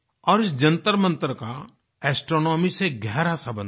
और इस जंतरमंतर का एस्ट्रोनॉमी से गहरा संबंध है